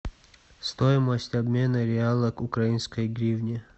стоимость обмена реала к украинской гривне